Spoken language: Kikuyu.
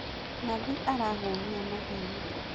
Nathi arahuhia na hinya